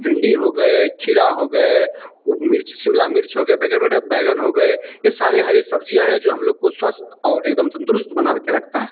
भिंडी हो गए खीरा हो गए उ मिर्च शिमला मिर्च हो गए बड़े-बड़े बैंगन हो गए ये सारे हरी सब्जियां हैं जो हम लोग को स्वस्थ और एकदम तंदरुस्त बना के रखता है।